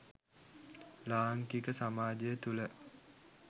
ලාංකික සමාජය තුළ